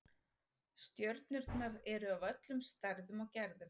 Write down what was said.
Stjörnurnar eru af öllum stærðum og gerðum.